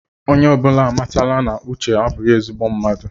Onye ọbụla amatala na uche abụghí ezigbo mmadụ